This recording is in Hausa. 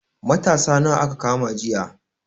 Matasa nawa aka kama jiya?